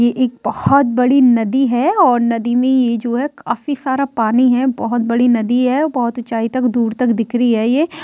ये एक बहुत बड़ी नदी है और नदी मे ये जो है काफी सारा पानी है बहुत बड़ी नदी है बहुत ऊंचाई तक दूर तक दिख रही है ये।